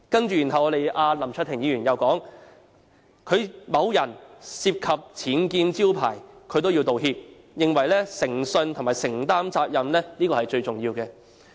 接着林卓廷議員又說，某人涉及僭建招牌也要道歉，並認為誠信和承擔責任最重要。